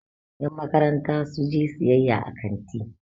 yanmakaranta su je siyayya a kanti